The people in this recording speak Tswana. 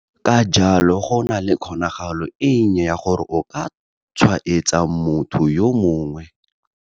Ka jalo, go nna le kgonagalo e nnye ya gore o ka tshwaetsa motho yo mongwe.